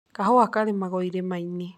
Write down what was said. Kahũa karimagwo irĩma-inĩ.